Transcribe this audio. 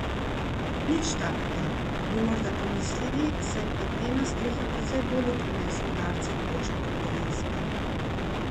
Nič takega, bi morda pomislili, saj platnena streha precej bolje prenese udarce toče kot kovinska.